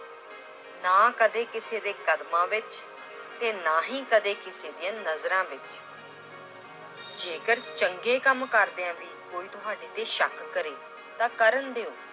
ਨਾ ਕਦੇ ਕਿਸੇ ਦੇ ਕਦਮਾਂ ਵਿੱਚ ਤੇ ਨਾ ਹੀ ਕਦੇ ਕਿਸੇ ਦੀਆਂ ਨਜ਼ਰਾਂ ਵਿੱਚ, ਜੇਕਰ ਚੰਗੇ ਕੰਮ ਕਰਦਿਆਂ ਵੀ ਕੋਈ ਤੁਹਾਡੇ ਤੇ ਸ਼ੱਕ ਕਰੇ ਤਾਂ ਕਰਨ ਦਿਓ